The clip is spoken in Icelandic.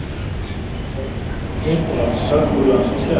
Ofnir kransar úr landsins gæðum